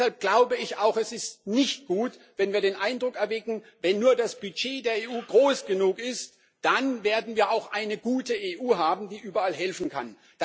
Deshalb glaube ich auch Es ist nicht gut, wenn wir den Eindruck erwecken, wenn nur das Budget der EU groß genug ist, dann werden wir auch eine gute EU haben, die überall helfen kann.